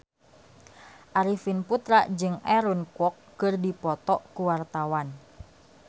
Arifin Putra jeung Aaron Kwok keur dipoto ku wartawan